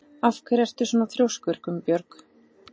Af hverju ertu svona þrjóskur, Gunnbjörg?